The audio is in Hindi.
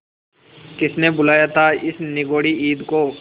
किसने बुलाया था इस निगौड़ी ईद को